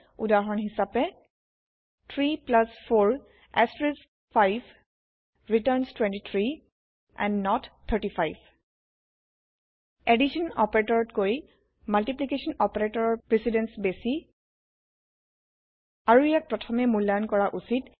উদাহৰন হিচাপে 3 4 5 returns 23 and not 35 addition যোগ অপাৰেতৰতকৈ মাল্টিপ্লিকেশ্যন পূৰন অপাৰেতৰৰ160 প্ৰিচিডেন্স বেছি আৰু ইয়াক প্ৰথমে মূল্লায়ন কৰা উচিত